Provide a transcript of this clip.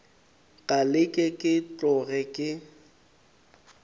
ka leke ke tloge ke